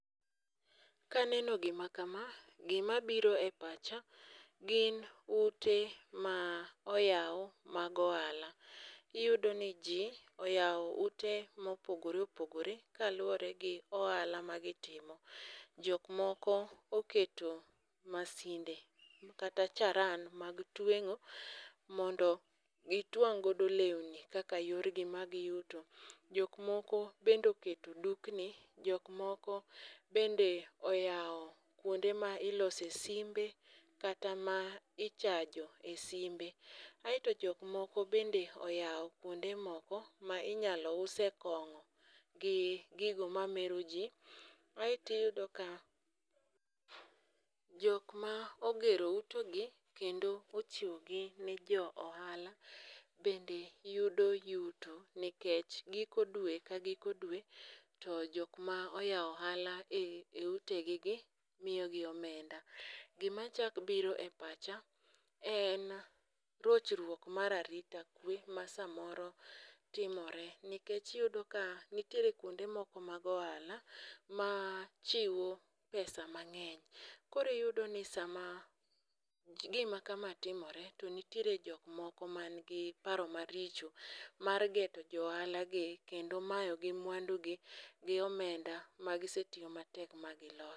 Kaneno gima kama, gimabiro e pacha gin ute ma oyaw mag ohala. Iyudoni ji oyawo ute mopogore opogore kalwore gi ohala ma gitimo. Jok moko oketo mashinde kata charan mag tweng'o mondo gitwang' godo lewni kaka yorgi mag yuto. Jok moko bende oketo dukni, jok moko bende oyawo kwonde ma ilose dimbe kata ma ichajo e simbe. Aeto jok moko bende oyawo kwonde moko ma inyalo use kong'o gi gigo mamero ji, aeto iyudo ka jok ma ogero utegi kendo ochiwogi ne jo ohala bende yudo yuto nikech giko dwe ka giko dwe, jok ma oyawo ohala e utegigi miyogi omenda. Gimachako biro e pacha en rochruok mar arita kwe ma samoro timore nikech iyudo ka nitiere kwonde moko mag ohala machiwo pesa mang'eny. Koro iyudo ni sama gimakama timore to nitiere jok moko manigi paro maricho mar geto jo ohalagi kendo mayogi mwandugi gi omenda ma gisetiyo matek ma giloso.